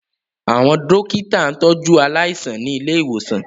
Àwọn dókítà ń tọ jú aláìsàn ní ilé ìwòsàn